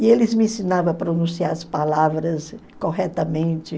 E eles me ensinavam a pronunciar as palavras corretamente.